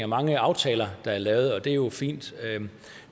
mange aftaler der er lavet og det er jo fint